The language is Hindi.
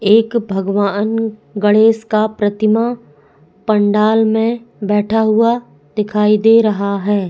एक भगवान गणेश का प्रतिमा पंडाल में बैठा हुआ दिखाई दे रहा है।